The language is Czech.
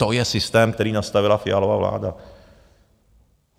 To je systém, který nastavila Fialova vláda.